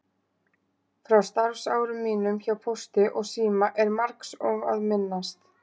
Frá starfsárum mínum hjá Pósti og síma er margs að minnast.